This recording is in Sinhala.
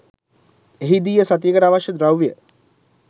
එහිදීය සතියකට අවශ්‍ය ද්‍රව්‍ය